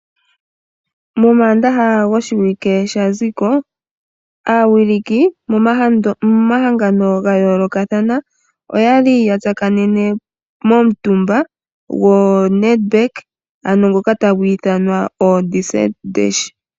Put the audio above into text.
Momaandaha goshiwike sha ziko aawiliki yomahangano ga yoolokathana oya li ya tsakanene momutumba goNedbank ngoka tagu ithanwa oDesert Dash.